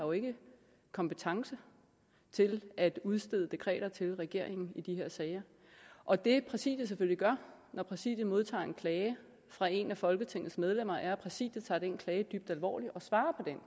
kompetence til at udstede dekreter til regeringen i de her sager og det præsidiet selvfølgelig gør når præsidiet modtager en klage fra et af folketingets medlemmer er at præsidiet tager den klage dybt alvorligt og svarer